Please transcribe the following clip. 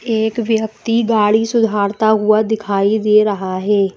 एक व्यक्ति गाड़ी सुधारता हुआ दिखाई दे रहा है।